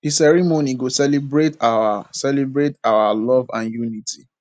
di ceremony go celebrate our celebrate our love and unity